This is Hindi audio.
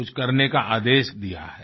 कुछ करने का आदेश दिया है